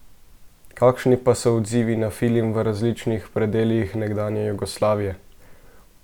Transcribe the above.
Kakšni pa so odzivi na film v različnih predelih nekdanje Jugoslavije?